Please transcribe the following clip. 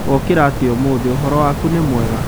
Wokĩra atĩa ũmũthĩ, ũhoro waku nĩ mwega?